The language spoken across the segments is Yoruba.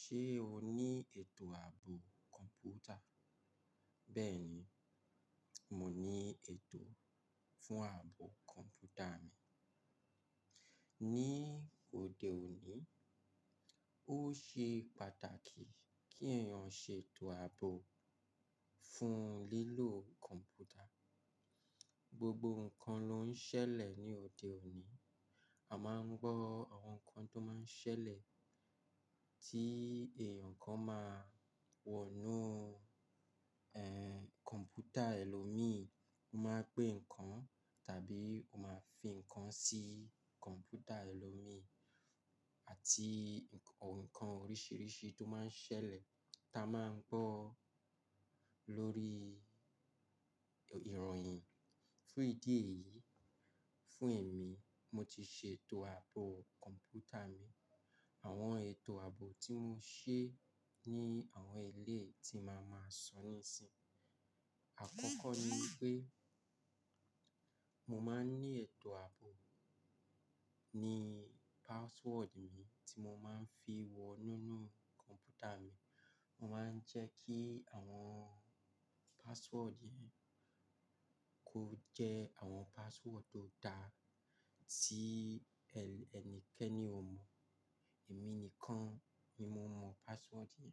Ṣé o ní ètò ààbò kọ̀ǹpútà? Bẹ́ẹ̀ni, mo ní ètò fún ààbò kọ̀ǹpútà mi. Ní òde òní, ó ṣe pàtàkì kí èèyàn ṣe ètò ààbò fún lílò kọ̀ǹpútà. Gbogbo ǹkan ló ń ṣẹlẹ̀ ní òde òní. A máa ń gbọ́ àwọn nǹkan tó máa ń ṣẹlẹ̀ tí èèyàn kan máa wọ̀nù, ẹ́, kọ̀ǹpútà ẹlòmíì, ó máa pè nǹkan tàbí ó máa fi nǹkan sí kọ̀ǹpútà ẹlòmíì àti ǹkàn oríṣìíríṣìí tó máa ń ṣẹlẹ̀ tá a máa ń gbọ́ lórí ìròyìn. Fún ìdí èyí, fún ẹ̀mí, mo ti ṣe ètò ààbò kọ̀ǹpútà mi. Àwọn ètò ààbò tí mo ṣe ní àwọn èléyìí tí màá máa sọ nísinsìnyí. Àkọ́kọ́ ni pé mo máa ń ní ètò ààbò ní password mi tí mo máa ń fi wọnú nínú kọ̀ǹpútà mi. Mo máa ń jẹ́ kí àwọn password yẹn kó jẹ́ àwọn password tó da tí ẹnikẹ́ni ò mọ̀. Èmi nìkan ni mo mọ̀ password yẹn.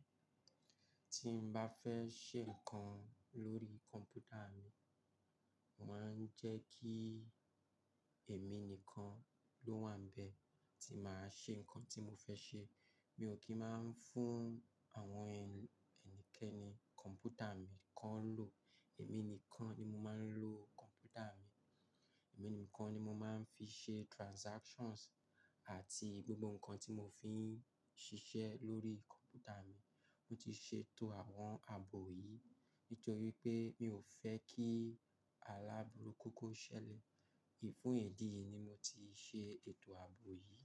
Tí mo bá fẹ́ ṣe nǹkan lórí kọ̀ǹpútà mi, mo màá ń jẹ́ kí èmi nìkan ló wà níbẹ̀ tí màá ṣe nǹkan tí mo fẹ́ ṣe. Mi ò kí máa ń fún àwọn ẹnikẹ́ni kọ̀ǹpútà mi kan lò. Èmi nìkan ni mo máa ń lò kọ̀ǹpútà mi. Èmi nìkan ni mo máa ń fi ṣe transactions àti gbogbo nǹkan tí mo fi ń ṣiṣẹ́ lórí kọ̀ǹpútà mi. Mo ti ṣètò àwọn ààbò yìí nítorí pé mi ò fẹ́ kí aláburú kókó ṣẹlẹ̀. Fún ìdí yìí ni mo ti ṣe ètò ààbò yìí.